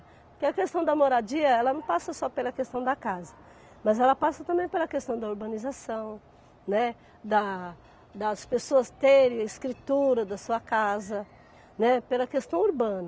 Porque a questão da moradia, ela não passa só pela questão da casa, mas ela passa também pela questão da urbanização, né, da das pessoas terem a escritura da sua casa, né, pela questão urbana.